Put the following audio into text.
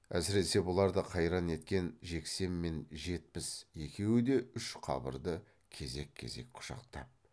әсіресе бұларды қайран еткен жексен мен жетпіс екеуі де үш қабырды кезек кезек құшақтап